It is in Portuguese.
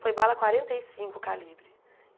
Foi bala quarenta e cinco calibre.